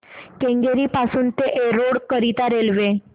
केंगेरी पासून एरोड करीता रेल्वे